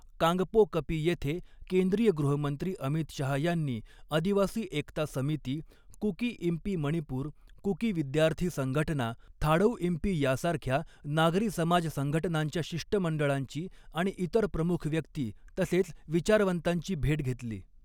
कांगपोकपी येथे केंद्रीय गृहमंत्री अमित शहा यांनी आदिवासी एकता समिती, कुकी इंपी मणिपूर, कुकी विद्यार्थी संघटना, थाडौइंपी यासारख्या नागरी समाज संघटनांच्या शिष्टमंडळांची आणि इतर प्रमुख व्यक्ती तसेच विचारवंतांची भेट घेतली.